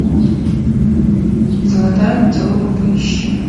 золотая антилопа поищи